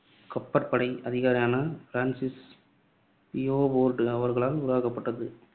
கப்பற்படை அதிகாரியான Francis Beaufort அவர்களால் உருவாக்கப்பட்டது.